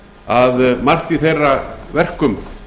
að margt í þeirra verkum